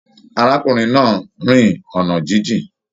Arákùnrin náà rìn ọna jijìn.